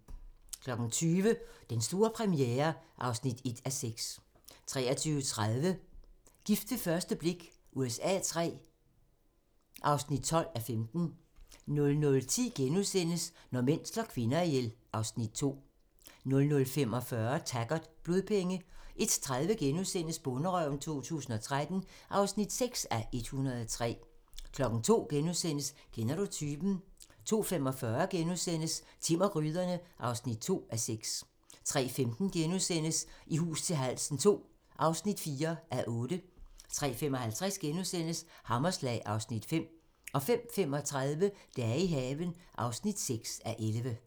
20:00: Den store premiere (1:6) 23:30: Gift ved første blik USA III (12:15) 00:10: Når mænd slår kvinder ihjel (Afs. 2)* 00:45: Taggart: Blodpenge 01:30: Bonderøven 2013 (6:103)* 02:00: Kender du typen? * 02:45: Timm og gryderne (2:6)* 03:15: I hus til halsen II (4:8)* 03:55: Hammerslag (Afs. 5)* 05:35: Dage i haven (6:11)